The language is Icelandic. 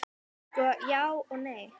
Sko, já og nei.